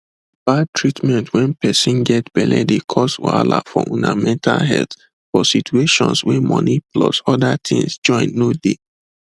bad treatment wen person get belle dey cause wahala for una mental healthfor situations wey money plus other things join no de